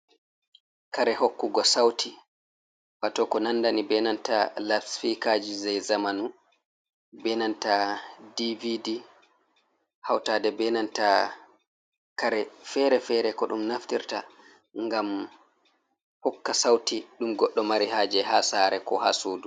Kare hokkugo sauti, waato ko nannda ni bee nanta lasfiikaji jey zamanu bee nanta DVD hawtaade e kare fere-fere ko ɗum naftirta ngam hokka sauti ɗum goɗɗo mari haaje haa saare koo ha suudu.